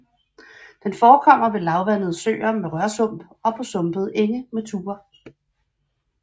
Den forekommer ved lavvandede søer med rørsump og på sumpede enge med tuer